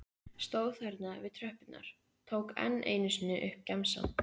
Stóð þarna við tröppurnar, tók enn einu sinni upp gemsann.